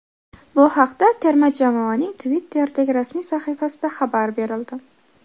Bu haqda terma jamoaning Twitter’dagi rasmiy sahifasida xabar berildi.